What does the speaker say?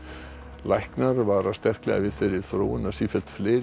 læknar vara sterklega við þeirri þróun að sífellt fleiri